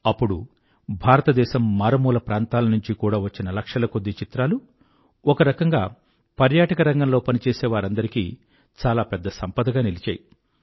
అప్పుడు భారతదేశం మారుమూల ప్రాంతాల నుండీ కూడా వచ్చిన లక్షల కొద్దీ చిత్రాలు ఒక రకంగా పర్యాటక రంగంలో పనిచేసేవారందరికీ చాలా పెద్ద సంపదగా నిలిచాయి